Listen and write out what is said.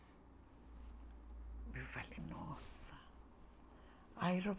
Eu falei, nossa.